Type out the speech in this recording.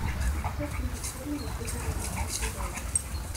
пятьдесят фунтов стерлингов сколько это в американских долларах